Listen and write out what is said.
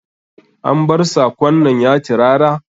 An bar sakon nan ya tirara?